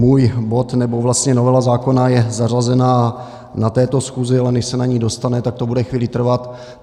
Můj bod, nebo vlastně novela zákona je zařazena na této schůzi, ale než se na ni dostane, tak to bude chvíli trvat.